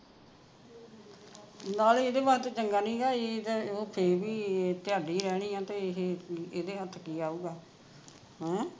ਨਾਲੇ ਇਹਦੇ ਵਾਸਤੇ ਚੰਗਾ ਨਹੀਂ ਗਾ ਇਹਦਾ ਉਹ ਫੇਰ ਵੀ ਰਹਿਣੀ ਆ ਤੇ ਇਹ ਇਹਦੇ ਹੱਥ ਕਿ ਆਊਗਾ ਹੈਂ